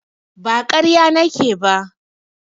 Ba ƙarya nake ba.